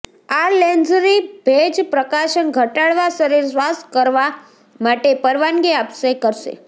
આ લૅંઝરી ભેજ પ્રકાશન ઘટાડવા શરીર શ્વાસ કરવા માટે પરવાનગી આપે કરશે